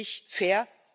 Ist das wirklich fair?